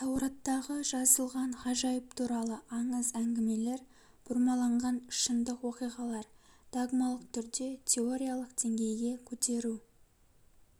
таураттағы жазылған ғажайып туралы аңыз әңгімелер бұрмаланған шындық оқиғалар догмалық түрде теориялық деңгейге көтеру